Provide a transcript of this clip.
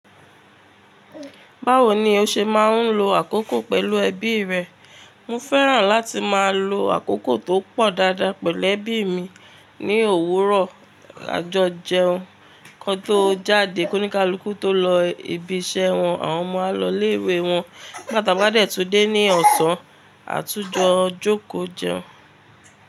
Báwo ni o ṣe máa ń lo àkókò pẹ̀lú ẹbí rẹ? Mo fẹ́ràn láti máa lo àkókò tó pọ̀ dáadáa pẹ̀lú ẹbí mi ní òwúrọ̀ àjọjẹun. Kán tó jáde, kóníká lukù tó lọ ibiṣẹ́ wọn, àwọn ọmọ á lọ ilé ìwé wọn, nigba ta ba de tú dé ní ọ̀sán, àtúnjọ jòkó jẹun.